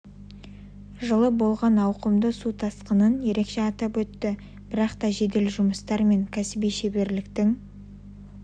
жылы болған ауқымды су тасқынын ерекше атап өтті бірақ та жедел жұмыстар мен кәсіби шеберліктің